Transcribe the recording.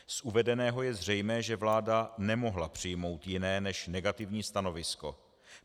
Z uvedeného je zřejmé, že vláda nemohla přijmout jiné než negativní stanovisko.